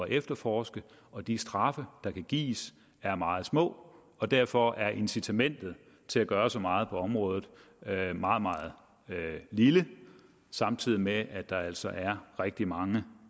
efterforske og de straffe der kan gives er meget små derfor er incitamentet til at gøre så meget på området meget meget lille samtidig med at der altså er rigtig mange